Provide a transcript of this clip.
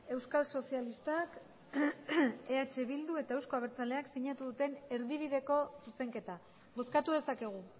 euskal sozialistak eh bildu eta euzko abertzaleak sinatu duten erdibideko zuzenketa bozkatu dezakegu